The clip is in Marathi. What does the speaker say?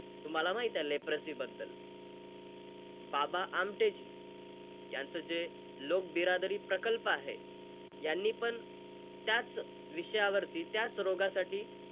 तुम्हाला माहिते लेप्रसि बद्दल. बाबा आमटेजी यांचं जे लोक बिरादरी प्रकल्प आहे. यांनीपण, त्याच विषयावरती, त्याच रोगासाठी,